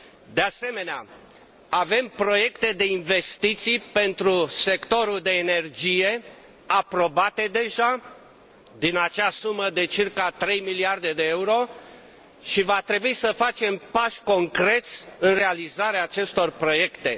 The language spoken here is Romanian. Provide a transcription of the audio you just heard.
De asemenea avem proiecte de investiții pentru sectorul de energie aprobate deja din acea sumă de circa trei miliarde de euro și va trebui să facem pași concreți în realizarea acestor proiecte.